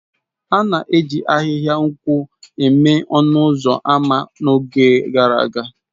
A na-eji ahịhịa nkwụ mee ọnụ ụzọ ámá n'oge gara aga.